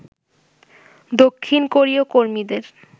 দক্ষিণ কোরীয় কর্মীদের